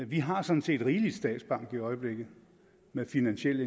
vi har sådan set rigeligt med statsbank i øjeblikket med finansiel